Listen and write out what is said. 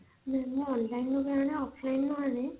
ନା ମୁଁ online ରୁ ଆଣେ offline ରୁ ବି ଆଣେ